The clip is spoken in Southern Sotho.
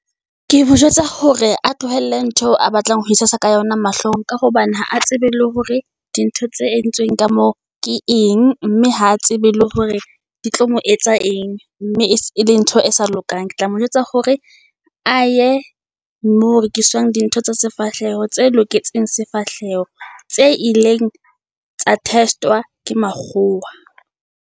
Ke mo jwetsa hore a tlohelle ntho eo a batlang ho itshasa ka yona mahlong, ka hobane ha a tsebe le hore di ntho tse entsweng ka moo ke eng. Mme ha tsebe le hore di tlo mo etsa eng, mme e se e leng ntho ng e sa lokang. Ketla, mo jwetsa hore a ye moo ho rekiswang di ntho tsa sefahleho tse loketseng sefahleho. Tse ileng tsa test-wa ke makgowa.